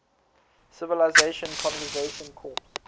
civilian conservation corps